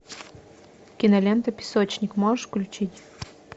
кинолента песочник можешь включить